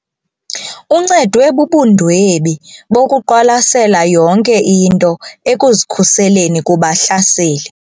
Uncedwe bubundwebi bokuqwalasela yonke into ekuzikhuseleni kubahlaseli.